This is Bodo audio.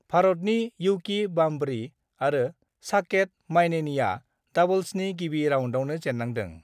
भारतनि युकी बाम्बरी आरो साकेत माइनेनीआ डाबल्सनि गिबि राउन्डआवनो जेन्नांदों।